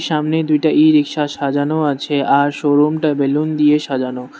সামনে দুইটা ই-রিকশা সাজানো আছে আর শোরুম টা বেলুন দিয়ে সাজানো।